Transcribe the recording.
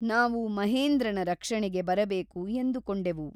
ನಾವು ಮಹೇಂದ್ರನ ರಕ್ಷಣೆಗೆ ಬರಬೇಕು ಎಂದುಕೊಂಡೆವು.